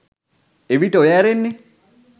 එවිට ඔය ඇරෙන්නෙ